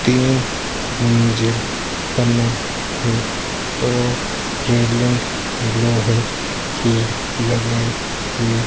तीन मंजिल बना है और रेलिंग लोहे की लगाई हुई --